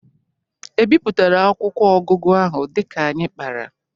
E bịpụtara akwụkwọ ọgụgụ ahụ dịka anyị kpara?